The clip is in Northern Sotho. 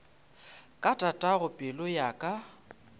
ka tatago pelo ya ka